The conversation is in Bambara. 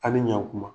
A ni ɲan kuma